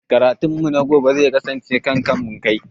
Karatun mu na gobe zai kasance kan kamun kai